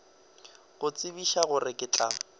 go tsebiša gore ke tla